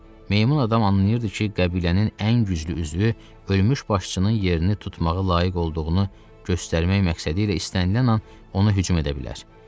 Meymun adam anlayırdı ki, qəbilənin ən güclü üzvü ölmüş başçının yerini tutmağına layiq olduğunu göstərmək məqsədilə istənilən an ona hücum edə bilər.